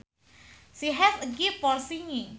She has a gift for singing